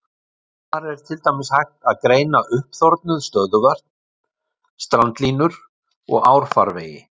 Þar er til dæmis hægt að greina uppþornuð stöðuvötn, strandlínur og árfarvegi.